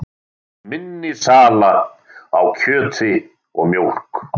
Minni sala á kjöti og mjólk